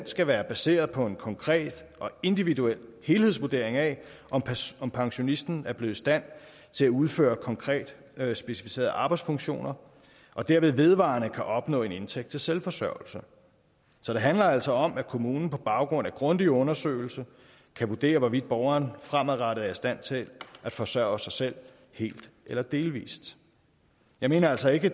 skal være baseret på en konkret og individuel helhedsvurdering af om pensionisten er blevet i stand til at udføre konkret specificerede arbejdsfunktioner og derved vedvarende kan opnå en indtægt til selvforsørgelse så det handler altså om at kommunen på baggrund af grundig undersøgelse kan vurdere hvorvidt borgeren fremadrettet er i stand til at forsørge sig selv helt eller delvis jeg mener altså ikke